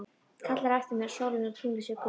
Kallar á eftir mér að sólin og tunglið séu gull.